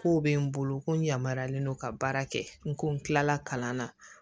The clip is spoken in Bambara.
Kow bɛ n bolo ko n yamaralen don ka baara kɛ n ko n kilala kalan na